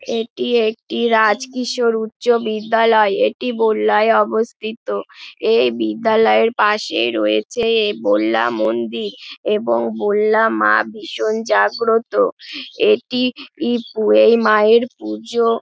এটি একটি রাজকিশোর উচ্চ বিদ্যালয় এটি বল্লায় অবস্থিত। এই বিদ্যালয়ের পাশে রয়েছে এ বল্লা মন্দির। এবং বল্লা মা ভীষণ জাগ্রত। এটি -ই এই মায়ের পুজো-- ।